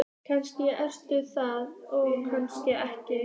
Kannski ertu það og kannski ekki.